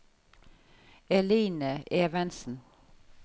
Eline Evensen